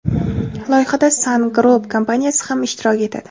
Loyihada Sun Group kompaniyasi ham ishtirok etadi.